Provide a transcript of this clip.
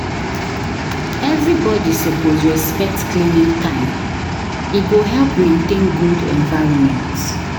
Everybody suppose respect cleaning time, e go help maintain good environment.